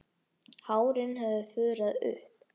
Hárin höfðu fuðrað upp.